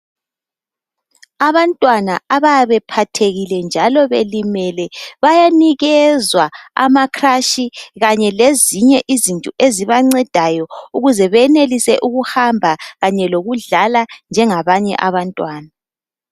Abantwana abayabe bephathekile njalo belimele bayanikezwa amacrush kanye lezinye izinto ezibancedayo ukuze benelise ukuhamba kanye lokudlala njengabanye abantwana.